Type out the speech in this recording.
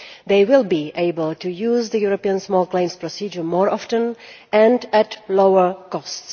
They will be able to use the European small claims procedure more often and at a lower cost.